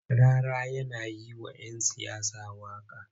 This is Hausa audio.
Rarara yana yi wa'yan siyasa waƙa.